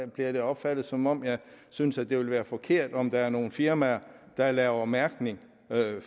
bliver det opfattet som om jeg synes at det vil være forkert om være nogle firmaer der laver en mærkning af